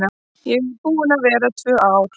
Ég er búin að vera tvö ár.